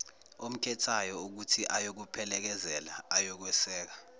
omkhethayo ukuthiakuphelekezele ayokweseka